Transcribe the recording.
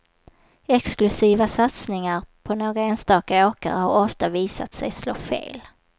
Exklusiva satsningar på några enstaka åkare har ofta visat sig slå fel.